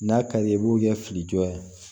N'a ka di ye i b'o kɛ filijɔ ye